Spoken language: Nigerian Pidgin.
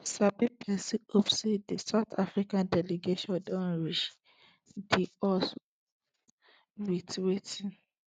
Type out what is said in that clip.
di sabi pesin hope say di south africa delegation don reach di us wit wetin